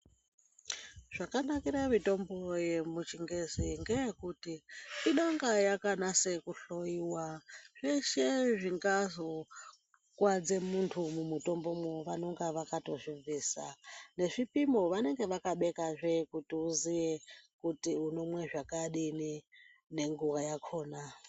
Zvakanakire mitombo yemuchingezi ngeyekuti inonga yakanase kuhloiwa zveshe zvingazokuwadze muntu mumutombomwo vanonga vakatozvibvisa nezvipimo vanonga vakabekazve kuti uziye kuti unomwe zvakadini nenguwa yakhona.